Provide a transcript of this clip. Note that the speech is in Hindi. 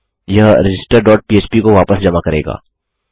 यह रजिस्टर डॉट पह्प को वापस जमा करेगा